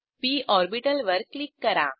P ऑर्बिटलवर click करा